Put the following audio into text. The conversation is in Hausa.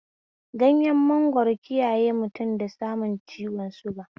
Ganyen mangwaro kiyaye mutum da samun ciwon suga